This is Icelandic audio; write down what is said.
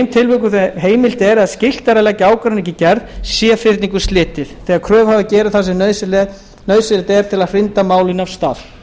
tilvikum þegar heimilt er eða skylt að leggja ágreining í gerð sé fyrningu slitið þegar kröfuhafi gerir það sem nauðsynlegt er til að hrinda málinu af stað